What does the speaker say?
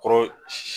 Kɔrɔ si